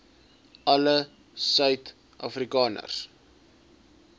alle suid afrikaners